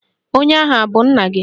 Onye ahụ abụ nna gị?